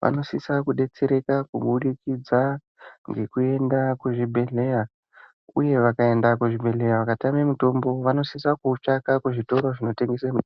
vanosise kudetsereka kubudikidza ngekuenda kuzvibhedhleya uye vakaenda kuzvibhedhleya vakatame mutombo vanosisa kuutenga kuzvitoro zvinotengesa mitombo.